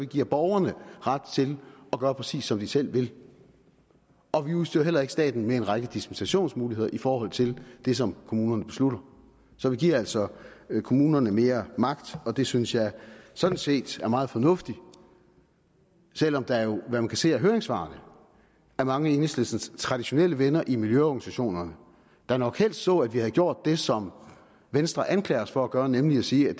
giver borgerne ret til at gøre præcis som de selv vil og vi udstyrer heller ikke staten med en række dispensationsmuligheder i forhold til det som kommunerne beslutter så vi giver altså kommunerne mere magt og det synes jeg sådan set er meget fornuftigt selv om der jo hvad man kan se af høringssvarene er mange af enhedslistens traditionelle venner i miljøorganisationerne der nok helst så at vi havde gjort det som venstre anklager os for at gøre nemlig at sige at